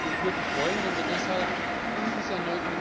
Ich würde mich freuen, wenn wir deshalb in dieser